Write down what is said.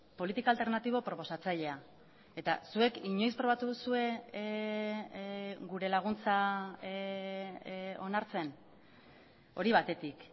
politika alternatibo proposatzailea eta zuek inoiz probatu duzue gure laguntza onartzen hori batetik